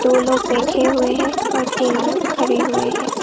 दो लोग बैठे हुए हैं और तीन लोग खड़े हुए हैं।